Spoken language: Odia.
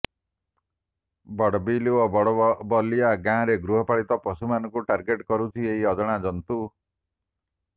ବଡ଼ବିଲ ଓ ବଲବଲିଆ ଗାଁରେ ଗୃହପାଳିତ ପଶୁମାନଙ୍କୁ ଟାର୍ଗେଟ କରୁଛି ଏହି ଅଜଣା ଜନ୍ତୁ